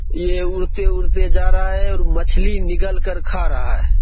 ये उड़ते-उड़ते जा रहा है और मछ्ली निगल के खा रहा है।